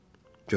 Görürsən?